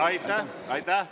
Aitäh!